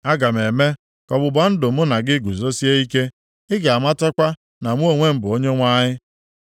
Aga m eme ka ọgbụgba ndụ mụ na gị guzosie ike, ị ga-amatakwa na mụ onwe m bụ Onyenwe anyị.